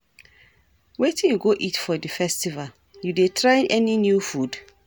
Wetin you go eat for di festival, you dey try any new food?